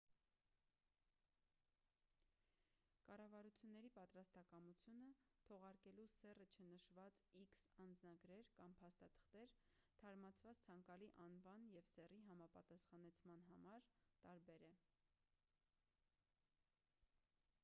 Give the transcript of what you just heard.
կառավարությունների պատրաստակամությունը՝ թողարկելու սեռը չնշված x անձնագրեր կամ փաստաթղթեր՝ թարմացված ցանկալի անվան և սեռի համապատասխանեցման համար տարբեր է: